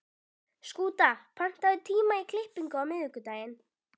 Skúta, pantaðu tíma í klippingu á miðvikudaginn.